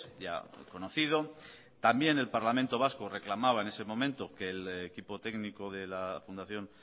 ya conocido también el parlamento vasco reclamaba en ese momento que el equipo técnico de la fundación